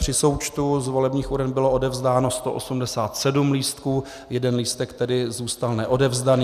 Při součtu z volebních uren bylo odevzdáno 187 lístků, jeden lístek tedy zůstal neodevzdán.